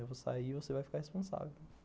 Eu vou sair e você vai ficar responsável.